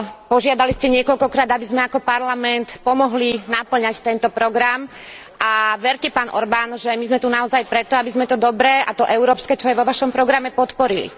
Požiadali ste niekoľkokrát, aby sme ako parlament pomohli napĺňať tento program, a verte, pán Orbán, že my sme tu naozaj preto, aby sme to dobré a to európske, čo je vo vašom programe, podporili.